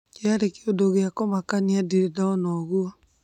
kĩari kĩundu gĩa kumakania, ndirĩ ndona ũguo